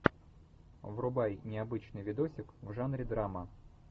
врубай необычный видосик в жанре драма